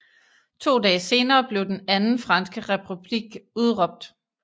To dage senere blev den Anden franske republik udråbt